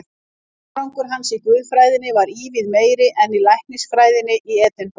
Árangur hans í guðfræðinni varð ívið meiri en í læknisfræðinni í Edinborg.